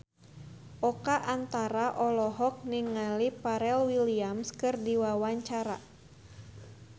Oka Antara olohok ningali Pharrell Williams keur diwawancara